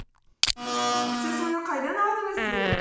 сіз мұны қайдан алдыңыз дедім